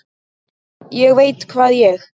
ÉG VEIT HVAÐ ÉG